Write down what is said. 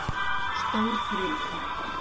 Stórfurðulegt mál.